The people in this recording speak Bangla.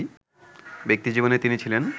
ব্যক্তিজীবনে তিনি ছিলেন